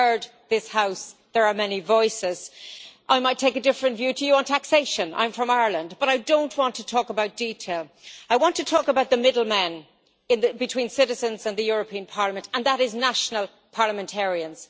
You heard this House there are many voices. I might take a different view to you on taxation I am from Ireland but I don't want to talk about detail, I want to talk about the middle men between citizens and the European Parliament, and that is national parliamentarians.